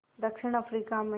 दक्षिण अफ्रीका में